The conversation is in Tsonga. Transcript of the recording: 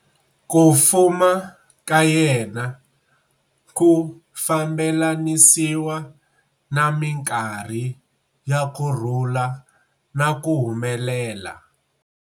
Ku fuma ka yena ku fambelanisiwa na minkarhi ya ku rhula na ku humelela.